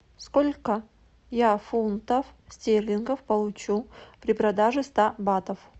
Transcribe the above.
сколько я фунтов стерлингов получу при продаже ста батов